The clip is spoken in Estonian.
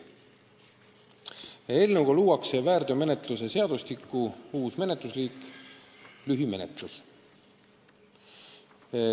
Eelnõuga luuakse väärteomenetluse seadustikus uus menetlusliik: lühimenetlus.